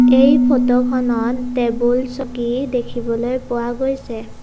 এই ফটোখনত টেবুল চকী দেখিবলৈ পোৱা গৈছে ।